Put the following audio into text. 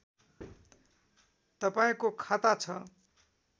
तपाईँको खाता छ